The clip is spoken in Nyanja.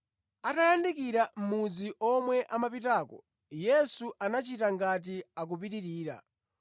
Atayandikira mudzi omwe amapitako, Yesu anachita ngati akupitirira.